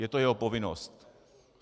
Je to jeho povinnost.